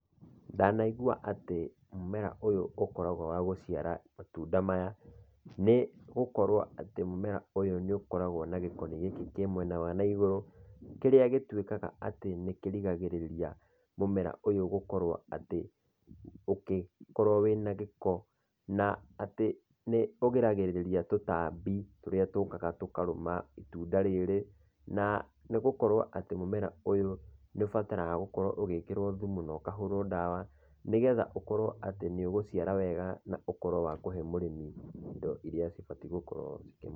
Ndanaigua atĩ mũmera ũyũ ũkoragwo wa gũciara matunda maya, nĩgũkorwo atĩ mũmera ũyũ nĩũkoragwo na gĩkoni gĩkĩ kĩ mwena wa naigũrũ, kĩrĩa gĩtuĩkaga atĩ nĩkĩrĩgagĩrĩria, mũmera ũyũ gũkorwo atĩ ũgĩkorwo wĩna gĩko, na atĩ nĩũrigagĩrĩria tũtambi, tũrĩa tũkaga tũkarũma itunda rĩrĩ, na nĩgũkorwo atĩ mũmera ũyũ nĩũbataraga gũkorwo ũgĩkĩrwo thumu, na ũkahũrwo ndawa, nĩgetha ũkorwo atĩ nĩũgũciara wega na ũkorwo wa kũhe mũrĩmi indo iria cibatiĩ gũkorwo cikĩmũhe.